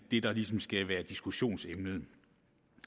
det der ligesom skal være diskussionsemnet